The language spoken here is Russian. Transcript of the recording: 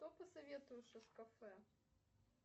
что посоветуешь из кафе